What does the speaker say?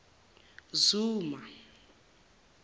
zuma